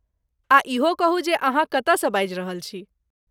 आ इहो कहू जे अहाँ कतयसँ बाजि रहल छी?